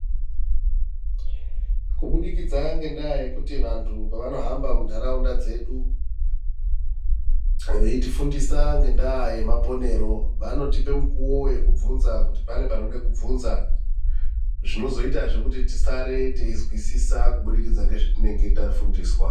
Kubudikidza ngendaa yekuti vantu pavanohamba muntaraunda dzedu veitifundisa ngenda yemaponero vanotipa mukuwo wekubvunza kuti pane panode kubvunza zvinozoita kuti tisare teizwisisa kubudikidza ngezvatinenge tafundiswa .